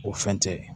O fɛn tɛ